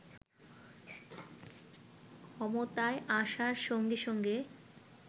ক্ষমতায় আসার সঙ্গে সঙ্গে